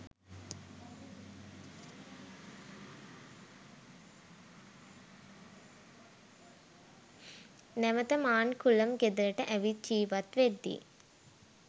නැවත මාන්කුලම් ගෙදරට ඇවිත් ජීවත් වෙද්දී